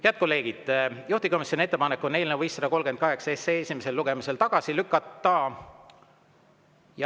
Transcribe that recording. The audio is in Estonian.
Head kolleegid, juhtivkomisjoni ettepanek on eelnõu 538 esimesel lugemisel tagasi lükata.